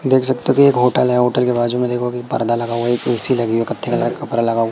देख सकते की एक होटल है होटल के बाजू में देखो एक पर्दा लगा हुआ एक ए_सी लगी है कलर का--